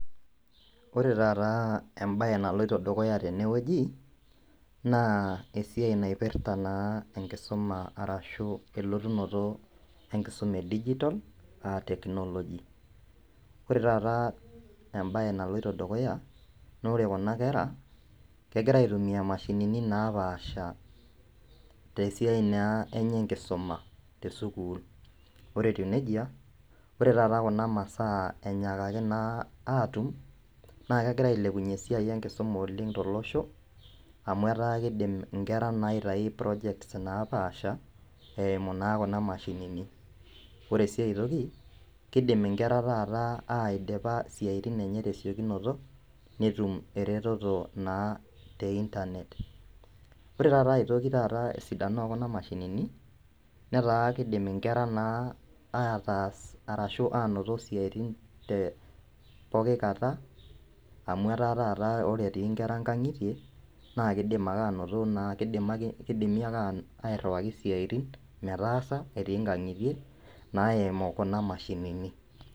Wore taata embaye naloito dukuya tene wueji naa esiai naipirta naa enkisuma arashu elotunoto enkisuma edigitol aa technology. Wore taata embaye naloito dukuya naa wore kuna kera kekira aitumia imashinini naapaasha tesiai naa enye enkisuma tesukuul. Wore etiu nejia wore taata kuna masaa inyiakaki naa atum, naa kekira ailepunyie esiai enkisuma oleng' tolosho amu etaa kiindim inkera naa aitayu projects naapaasha, eimu naa kuna mashinini. Wore sii aitoki, kiindim inkera taata aidipa isiatin enye tesiokunoto netum eretoto naa te internet. Wore taata aitoki taata esidano ekuna mashinini, neeta kiindim inkera naa aatas arashu ainoto isiatin te pokin kata, amu etaa taata wore etii inkera inkangitie, naa keidim ake ainoto kidimi airriwaki isiatin metaasa etii inkangitie, naimu kuna mashinini.